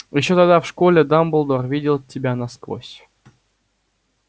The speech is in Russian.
ещё тогда в школе дамблдор видел тебя насквозь